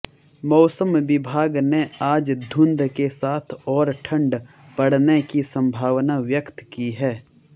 मौसम विभाग ने आज धुंध के साथ और ठंड पड़ने की संभावना व्यक्त की है